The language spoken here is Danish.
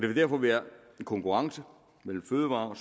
vil derfor være en konkurrence mellem fødevare og